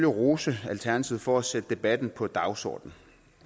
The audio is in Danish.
rose alternativet for at sætte debatten på dagsordenen